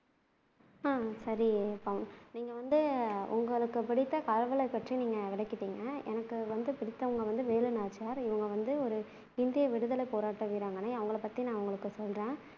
அஹ் சரி பவன் நீங்க வந்து உங்களுக்கு பிடித்த கடவுளை பற்றி நீங்க விளக்கிட்டீங்க எனக்கு வந்து பிடித்தவங்க வந்து வேலு நாச்சியார் இவங்க வந்து ஒரு இந்திய விடுத்லை போராட்ட வீராங்கனை அவங்களை பத்தி நான் உங்களூக்கு சொல்றேன்